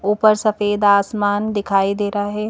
ऊपर सफेद आसमान दिखाई दे रहा है।